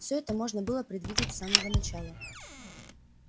всё это можно было предвидеть с самого начала